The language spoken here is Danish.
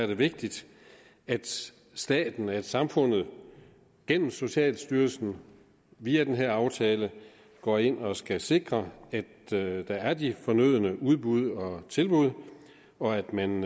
vigtigt at staten samfundet gennem socialstyrelsen via den her aftale går ind og skal sikre at der er de fornødne udbud og tilbud og at man